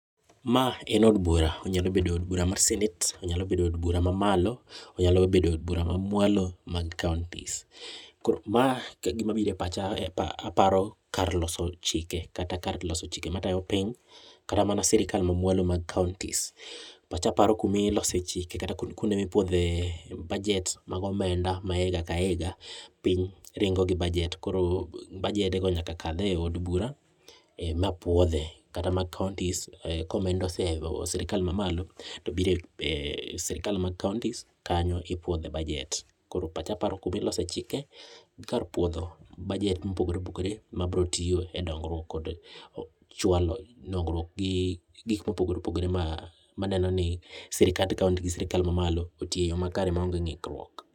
a en od bura onyalo bedo od bura ma senate onyalo bedo od bura ma malo, onyalo bedo od bura ma mwalo mag counties gima biro e pacha paro kar loso chike kata kar loso chike matayo piny kata mana sirikal ma mwalo mag counties, pacha paro kumi lose chike kata kuonde mipuodhe budget mag omenda higa ka higa, piny ringo gi budget koro baedo go nyaka kal e od bura ma puodhe kata mag counties komenda osea e sirikal mamalo, to biro e sirikal mag counties kanyo ipuodhe budget, koro pacha paro kumi lose chike gi kar puodho budget mopogore opogore ma bro tiyo e dongruok kod chwalo dongruok gi gik mopogore opogore ma neno ni sirikand county gi sirikal ma malo otiyo e yo makare ma ong'e ringruok.